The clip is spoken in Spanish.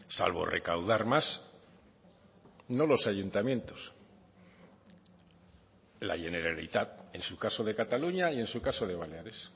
salvo recaudar más no los ayuntamientos la generalitat en su caso de cataluña y en su caso de baleares